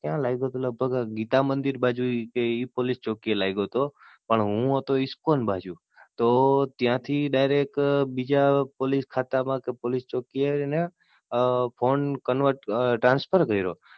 ક્યાં લાગ્યો હતો મારો લગભગ ગીતા મંદિર બાજુ એ પોલીસચોકી એ લાયગો તો. પણ હું હતો ઇસ્કોન બાજુ તો, ત્યાં થી Direct બીજા પોલિસખાતા માં કે બીજા પોલીસચોકી એ ફોન Convert અમ Transfer કર્યો.